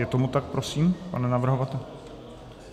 Je tomu tak prosím, pane navrhovateli?